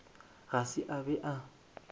ga se a be a